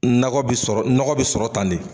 Nakɔ bɛ sɔrɔ, nɔgɔ bɛ sɔrɔ tan ne.